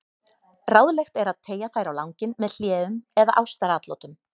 Ráðlegt er að teygja þær á langinn með hléum eða ástaratlotum.